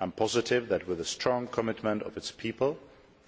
I am positive that, with the strong commitment of its people